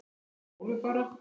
Þín Ólöf Bára.